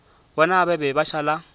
bona ba be ba šala